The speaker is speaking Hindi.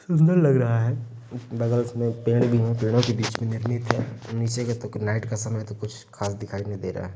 सुंदर लग रहा है। बगल में पेड़ भी है। पेड़ों के बीच निर्मित है। नीचे का तो नाइट का समय है तो कुछ खास दिखाई भी नही दे रहा है।